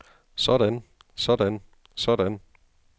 sådan sådan sådan